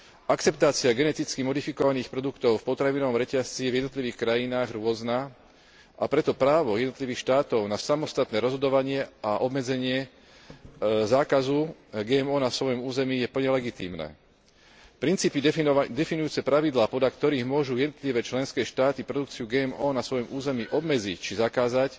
Akceptácia geneticky modifikovaných produktov v potravinovom reťazci je v jednotlivých krajinách rôzna, a preto právo jednotlivých štátov na samostatné rozhodovanie a obmedzenie zákazu GMO na svojom území je plne legitímne. Princípy definujúce pravidlá, podľa ktorých môžu jednotlivé členské štáty produkciu GMO na svojom území obmedziť či zakázať,